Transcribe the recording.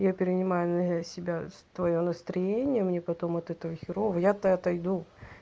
я перенимаю на я себя твоё настроение мне потом от этого херово я то отойду